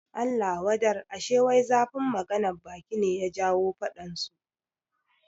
Allah wadar, ashe wai zafin maganan baki ne ya jawo faɗan su